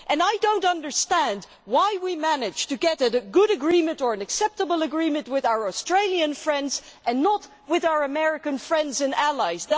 I do not understand how we are able to reach a good agreement or an acceptable agreement with our Australian friends and not with our American friends and allies.